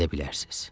Gedə bilərsiz.